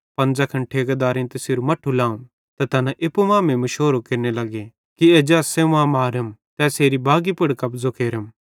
पन ज़ैखन ठेकेदारेइं तैसेरू मट्ठू लाव त तैना एप्पू मांमेइं मुशोरो केरने लग्गे कि एज्जा एस सेवां मारम ते एसेरी बागी पुड़ कब्ज़ो केरम